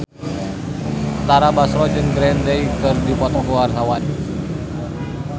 Tara Basro jeung Green Day keur dipoto ku wartawan